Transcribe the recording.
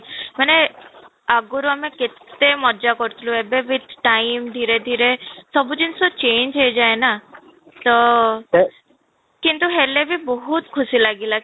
ମାନେ ଆଗରୁ ଆମେ କେତେ ମଜା କରୁଥିଲୁ ଏବେ ବି time ଧୀରେ ଧୀରେ ସବୁ ଜିନିଷ change ହେଇଯାଏ ନା ତ କିନ୍ତୁ ହେଲେ ବି ବହୁତ ଖୁସି ଲାଗିଲା